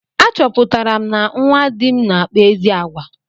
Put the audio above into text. A chọpụtara na nwa dị m na-akpa ezi àgwà.